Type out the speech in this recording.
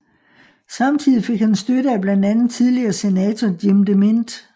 Samtidig fik han støtte af blandt andet tidligere senator Jim DeMint